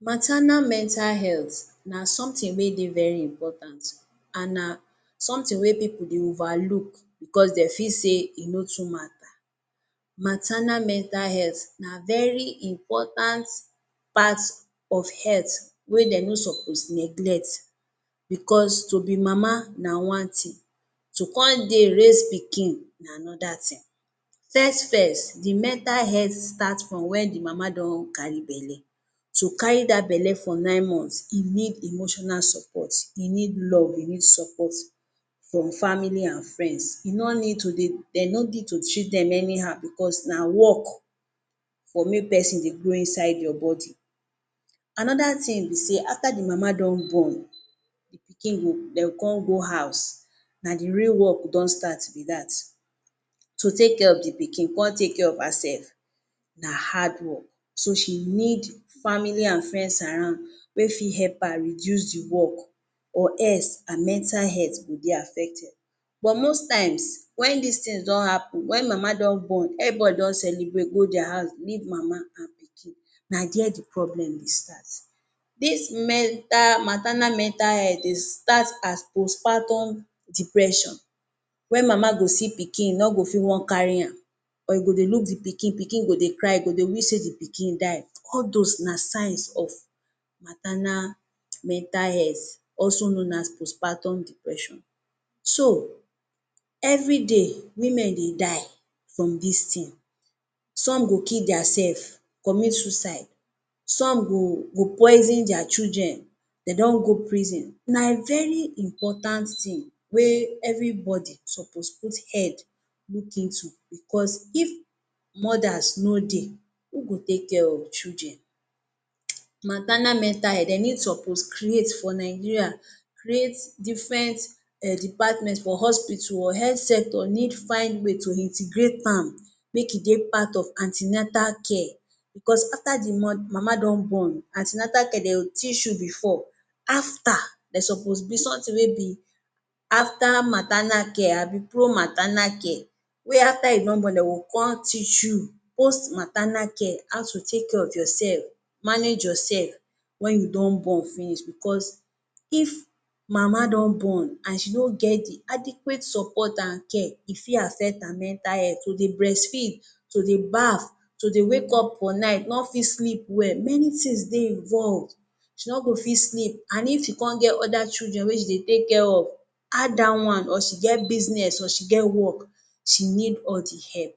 Maternal mental health na something wey dey very important, an na something wey pipu wey dey overlook becos de fit say e no too matter. Maternal mental health na very important part of health wey de no suppose neglect becos to be mama na one tin, to con dey raise pikin na another thing. First-first the mental health start from wen the mama don carry belle. To carry dat belle for nine months e need emotional support. E need love, e need support from family an friends. You no need to dey de no need to treat dem anyhow becos na work for make peson dey grow inside your body. Another tin be sey after the mama don born, the pikin go de gon con go house, na the real work don start be dat. To take care of the pikin con take care of hersef na hardwork. So, she need family an friends around wey fit help her reduce the work or else, her mental health go dey affected. But most times, wen dis tins don happen, wen mama don born, everybody don celebrate go dia house leave mama, na there the problem dey start. Dis mental maternal mental health dey start as post-partum depression wey mama go see pikin no go fit wan carry am or go dey look the pikin, pikin go dey cry, go dey wish sey the pikin die. All dos na signs of maternal mental health, also known as post-partum depression. So, everyday women dey die from dis tin. Some go kill diasef, commit suicide. Some go go poison dia children. De don go prison. Na very important tin wey everybody suppose put head look into becos if mothers no dey, who go take care of children? Maternal mental health, de need suppose create for Nigeria create different um department for hospital or health sector need find way to integrate am. Make e dey part of an ten atal care. Becos after the mama don born, an ten atal de go teach you before. After, de suppose be something wey be after maternal care abi pro maternal care wey after you don born, de go con teach you post maternal care – how to take care of yourself, manage yoursef wen you don born finish becos if mama don born an she no get the adequate support an care, e fit affect her mental health. To dey breastfeed, to dey bath, to dey wake up for night, no fit sleep well, many tins dey involve. She no go fit sleep an if she con get other children wey she dey take care of, add dat one or she get business or she get work, she need all the help